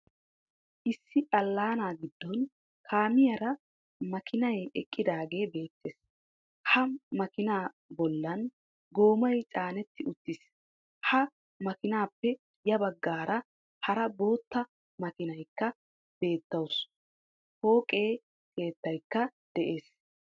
Issi allaana giddon kaamiyaara makiinay eqqidaage beettes. Ha makiina bollan goomay caanetti uttiis.ha makinaappe ya baggaara hara bootta makiiniyaakka beettawusu pooqe keettaykka des